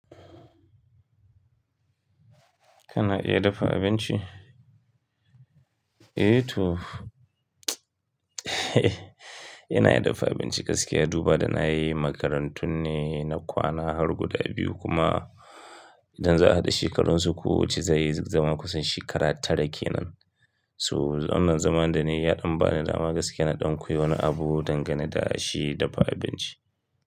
Kana iya dafa abinci? Eh to ina iya dafa abinci gaskiya. Duba da na yi makarantun ne na kwana har guda biyu kuma idan za a haɗa shekarun su ko wacce zai zama kusan shekara tara ke nan. To wannan zaman danayi ya ɗan bani dama gaskiya na ɗan koyi wani abun dangane da shi dafa abinci.